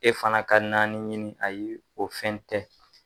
E fana ka naani ɲini, ayi o fɛn tɛ.